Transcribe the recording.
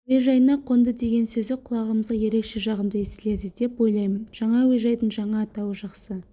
әуежайына қонды деген сөзі құлағымызға ерекше жағымды естіледі деп ойлаймын жаңа әуежайдың жаңа атауы жақсы